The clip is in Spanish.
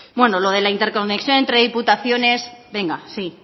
lo de la interconexión entre diputaciones venga sí